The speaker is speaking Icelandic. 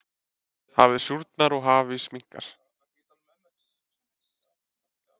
hafið súrnar og hafís minnkar